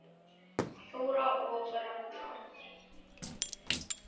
Þóra og Ragnar.